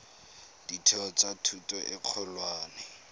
ditheo tsa thuto e kgolwane